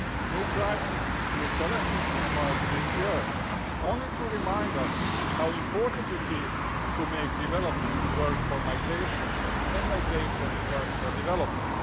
New crises and new challenges emerged this year, only to remind us how important it is to make development work for migration and migration work for development.